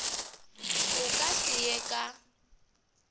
a ka se ye ka